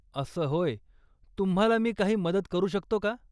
असं होय, तुम्हाला मी काही मदत करू शकतो का?